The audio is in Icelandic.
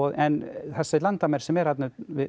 en þessi landamæri sem eru þarna